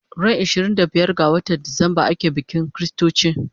Ran ishirin da biyar ga watan Decemba ake bikin chritochi